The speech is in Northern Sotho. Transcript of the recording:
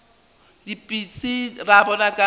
ke dipitsi ra bona ka